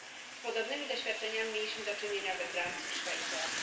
Z podobnymi doświadczeniami mieliśmy do czynienia we Francji i w Szwajcarii.